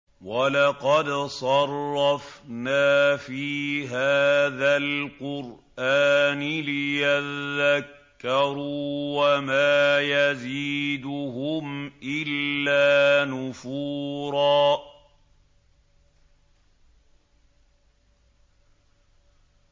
وَلَقَدْ صَرَّفْنَا فِي هَٰذَا الْقُرْآنِ لِيَذَّكَّرُوا وَمَا يَزِيدُهُمْ إِلَّا نُفُورًا